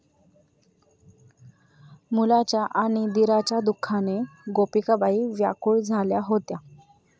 मुलाच्या आणि दिराच्या दुःखाने गोपिकाबाई व्याकुळ झाल्या होत्या.